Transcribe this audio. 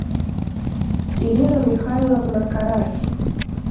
ирина михайловна карась